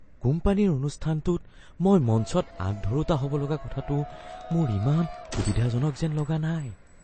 কোম্পানীৰ অনুষ্ঠানটোত মই মঞ্চত আঁত ধৰোঁতা হ'ব লগা কথাটো মোৰ ইমান সুবিধাজনক যেন লগা নাই।